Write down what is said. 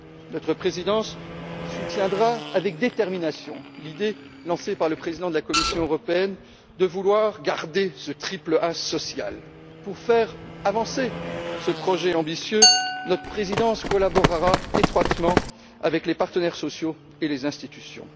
Notre présidence soutiendra avec détermination l'idée lancée par le président de la Commission européenne de vouloir garder ce triple A social. Pour faire avancer ce projet ambitieux, notre présidence collaborera étroitement avec les partenaires sociaux et les institutions.